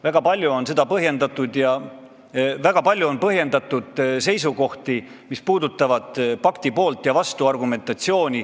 Väga palju on põhjendatud seisukohti, mis sisaldavad argumentatsiooni pakti poolt ja vastu.